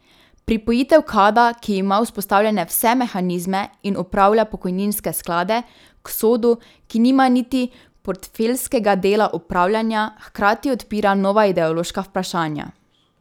Pripojitev Kada, ki ima vzpostavljene vse mehanizme in upravlja pokojninske sklade, k Sodu, ki nima niti portfeljskega dela upravljanja, hkrati odpira nova ideološka vprašanja.